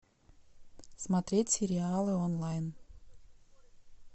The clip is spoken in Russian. смотреть сериалы онлайн